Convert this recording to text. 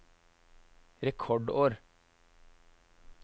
rekordår